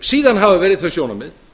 síðan hafa verið þau sjónarmið